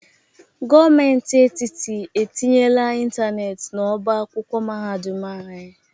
Gomenti etiti etinyela ịntaneeti n'ọba akwụkwọ mahadum anyị